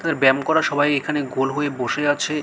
তাদের ব্যায়াম করা সবাই এখানে গোল হয়ে বসে আছে ।